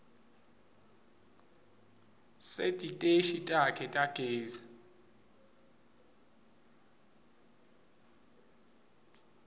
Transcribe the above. setiteshi takhe tagezi